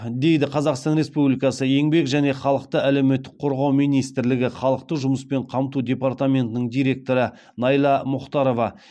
дейді қазақстан республикасы еңбек және халықты әлеуметтік қорғау министрлігі халықты жұмыспен қамту департаментінің директоры найла мұхтарова